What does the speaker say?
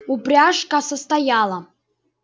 упряжка состояла